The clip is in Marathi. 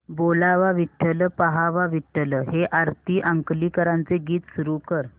बोलावा विठ्ठल पहावा विठ्ठल हे आरती अंकलीकरांचे गीत सुरू कर